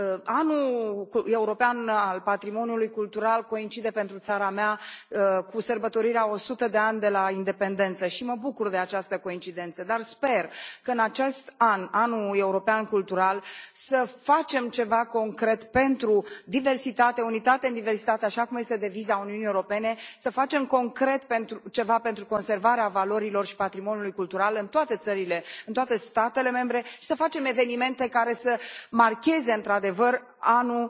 Anul european al patrimoniului cultural coincide pentru țara mea cu sărbătorirea a o sută de ani de la independență și mă bucur de această coincidență, dar sper ca, în acest an, Anul european cultural, să facem ceva concret pentru diversitate, unitate în diversitate, așa cum este deviza Uniunii Europene, să facem concret ceva pentru conservarea valorilor și patrimoniului cultural în toate țările, în toate statele membre, să facem evenimente care să marcheze într adevăr Anul